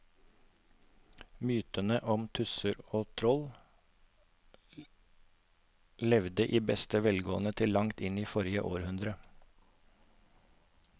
Mytene om tusser og troll levde i beste velgående til langt inn i forrige århundre.